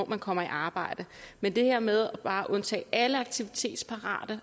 man kommer i arbejde men det her med bare at undtage alle aktivitetsparate